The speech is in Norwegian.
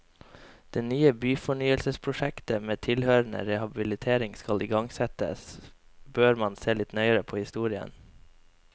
Når nye byfornyelsesprosjekter med tilhørende rehabilitering skal igangsettes, bør man se litt nøyere på historien.